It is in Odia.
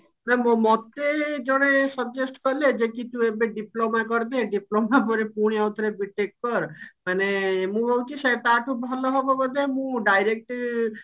ମୋ ମୋ ମୋତେ ଜଣେ suggest କଲେ ଯେ କି ତୁ ଏବେ diploma କରିଦେ diploma ପରେ ପୁଣି ଆଉଥରେ B. TECH କର ମାନେ ମୁଁ ଭାବୁଛି ସେ ତା ଠୁ ଭଲ ହବ ବୋଧେ ମୁଁ direct